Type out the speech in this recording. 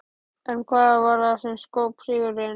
En hvað varð það sem skóp sigurinn?